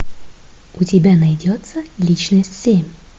у тебя найдется личность семь